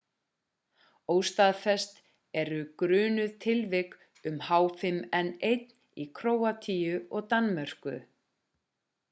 óstaðfest eru grunuð tilvik um h5n1 í króatíu og danmörku